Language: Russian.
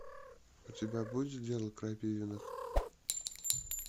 у тебя будет дело крапивиных